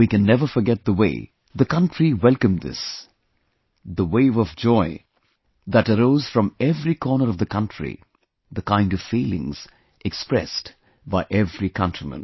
We can never forget the way the country welcomed this, the wave of joy that arose from every corner of the country; the kind of feelings expressed by every countryman